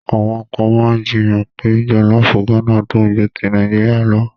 Àwọn kan máa jiyàn pé jọ̀lọ́fù Gánà dùn ju ti Nàìjíríà lọ.